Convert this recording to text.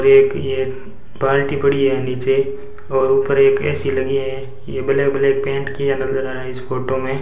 एक ये बाल्टी पड़ी है नीचे और ऊपर एक ए_सी लगी है ये ब्लैक ब्लैक पेंट किया नजर आ रहा इस फोटो में--